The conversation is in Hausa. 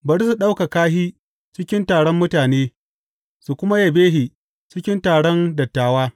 Bari su ɗaukaka shi cikin taron mutane su kuma yabe shi cikin taron dattawa.